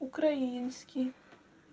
украинский